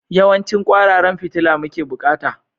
Yawancin kwararan fitila muke bukata?